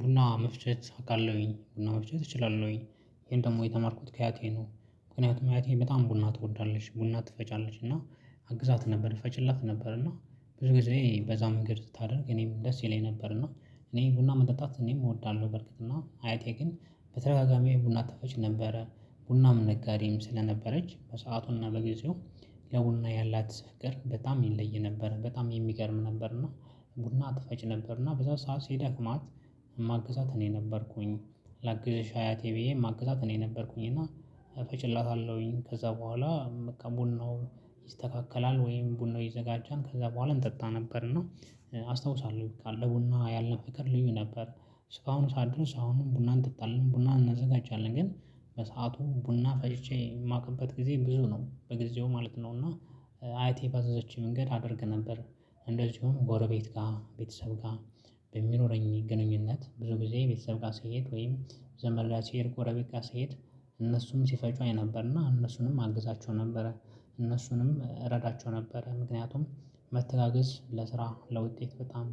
ቡና መፍቸት አውቃለሁኝ፣ ቡና መፍቸት እችላለሁኝ። ይሄን ደግሞ የተማርኩት ከአያቴ ነው፣ ምክንያቱም አያቴ በጣም ቡና ትወዳለሽ፣ ቡና ትፈጫለሽ። እና አግዛት ነበር፣ እፈጭላት ነበር፣ እና ብዙ ጊዜ በዛ መንገድ ስታደርግ እኔም ደስ ይለኝ ነበር። እና እኔ ቡና መጠጣት እኔም እወዳለሁ በርግጥ፣ እና አያቴ ግን በተረጋጋሚ ቡና አጥፋች ነበረ ቡናም ነጋዴም ስለነበረች በሰአቱና፣ ለጊዜው ለቡና ያላት ፍቅር በጣም ይለይ ነበር። በጣም የሚገርም ነበር። እና ቡና ትፈጭ ነበር፣ እና በዛ ሰዓት ሲደክማት ማግዛት እኔ ነበርኩኝ። ላግዝሽ አያቴ ብዬ ማግዛት እኔ ነበርኩኝ፣ እና እፈጭላታለሁኝ። ከዛ በኋላ በቃ ቡናው ይስተካከላል ወይም ቡናው ይዘጋጃል፣ ከዛ በኋላ እንጠጣ ነበር። እና አስታውሳለሁ፣ ካለ ቡና ያለ ፍቅር ልዩ ነበር። ስካሁን ሳደርስ አሁንም ቡናን እንጠጣለን፣ ቡናን እናዘጋጃለን፣ ግን በሰአቱ ቡና ፈጅቼ የማውቅበት ጊዜ ብዙ ነው በጊዜው ማለት ነው። እና አይቴ ባዘዘች መንገድ አደርግ ነበር፣ እንደዚሁም ጎረቤት ጋር፣ ቤተሰብ ጋር በሚኖረኝ ግንኙነት ብዙ ጊዜ የቤተሰብ ስሄድ፣ ወይም ዘመላ ሲሄድ፣ ጎረቤ ጋሰሄድ እነሱም ሲፈጩ አይ ነበርና እነሱንም አግዛቸው ነበረ። እነሱንም እረዳቸው ነበረ። ምክንያቱም መተጋገዝ ለስራ ለውጤት በጣም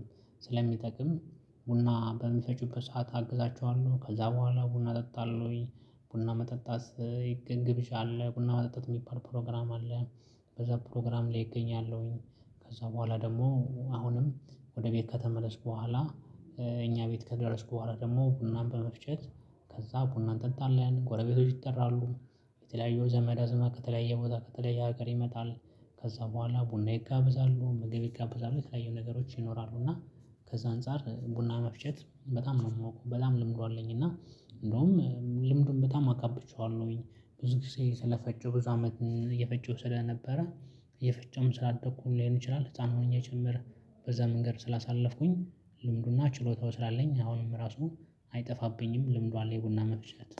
ስለሚጠቅም ቡና በሚፈጩበት ሰዓት አግዛቸዋለሁ፣ ከዛ በኋላ ቡና እጠጣለው ወይ ቡና መጠጣት ይገብዣ አለ፣ ቡና መጠጣት የሚባል ፕሮግራም አለ፣ በዛ ፕሮግራም ላይ እገኛለሁኝ። ከዛ በኋላ ደግሞ አሁንም ወደ ቤት ከተመለስኩ በኋላ እኛ ቤት ከደረስኩ በኋላ ደግሞ ቡናን በመፍጨት ከዛ ቡናን ጠጣለን፣ ጎረቤቶች ይጠራሉ የተለያዩ ዘመዳ ዘመት ከተለያየ ቦታ፣ ከተለያየ ሀገር ይመጣሉ። ከዛ በኋላ ቡና ይጋብዛሉ፣ ምግብ ይጋብዛሉ፣ የተለያዩ ነገሮች ይኖራሉ። እና ከዛ አንፃር ቡና መፍጀት በጣም ነው የማውቀው በጣም ልምዱ አለኝ፣ እና እንደውም ልምዱን በጣም አጋብቼዋለሁኝ ብዙ ጊዜ ስለፈጨው፣ ብዙ አመት እየፈጨው ስለነበረ። እየፈጨውም ስላደኩ ሊሆን ይችላል፣ ህፃን ሆኜ ጭምር በዛ መንገድ ስላሳለፍኩኝ ልምዱና ችሎታው ስላለኝ አሁንም ራሱን አይጠፋብኝም። ልምዱ አለ የቡና መፍቸት።